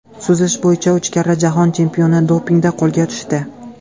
Suzish bo‘yicha uch karra jahon chempioni dopingda qo‘lga tushdi.